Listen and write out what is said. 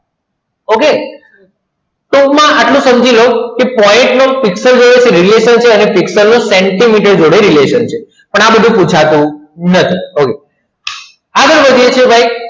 okay ટૂંકમાં આટલું સમજી લો કે point નું પિક્ચર જોડે relation છે અને પિક્સેલ નું સેન્ટીમીટર relation છે પણ આ બધું પુછાતું નથી okay આગળ વધે છે કે ભાઈ